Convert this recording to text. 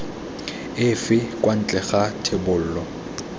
efe kwa ntle ga thebolo